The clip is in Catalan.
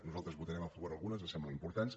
nosaltres en votarem a favor algunes ens semblen importants